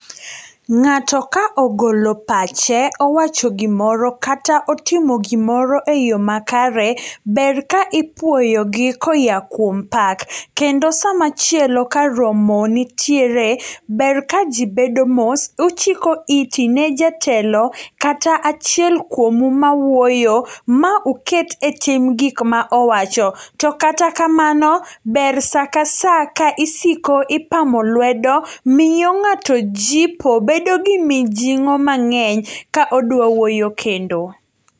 Ng'ato ka ogolo pache owachogimoro kata otimo gimoro e yo makare, ber ka ipuoyogi koya kuom pak, kendo sama chielo karomo nitiere ber ka jii bedo mos, uchiko iti ne jatelo kata achiel kuomu mawuoyo, mauket e tim gikma owacho. To kata kamano, ber saa ka saa ka isiko ipamo lwedo miyo ng'ato jipo bedogi mijing'o mang'eny ka odwa wuoyo kendo.